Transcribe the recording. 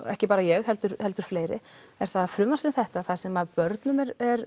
ekki bara ég heldur heldur fleiri er það að frumvarp sem þetta þar sem börnum